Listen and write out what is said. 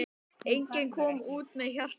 Enginn kom út með hjarta.